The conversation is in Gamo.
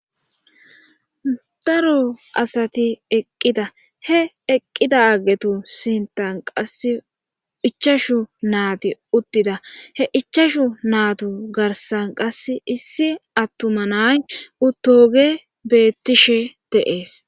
Daro asati eqqida he eqqida aggetu sintan qasse ichashu naati uttida he ichashu naatu garsan qass issi attuma nay utoge bettishe deees.